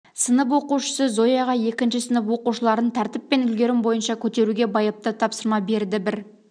сынып оқушысы зояға екінші сынып оқушыларын тәртіп пен үлгерім бойынша көтеруге байыпты тапсырма берді бір